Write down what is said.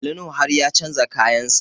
Ali Nuhu har ya canza kayan sa